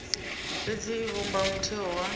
fhedzi i vhumba mutheo wa